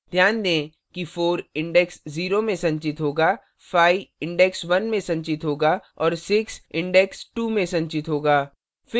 ध्यान दें कि 4 index 0 में संचित होगा 5 index 1 में संचित होगा और 6 index 2 में संचित होगा